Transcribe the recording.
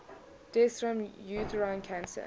deaths from uterine cancer